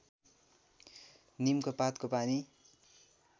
नीमको पातको पानी